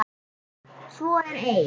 Svo er ei.